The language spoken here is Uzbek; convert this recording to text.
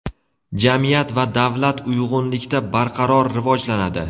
jamiyat va davlat uyg‘unlikda barqaror rivojlanadi.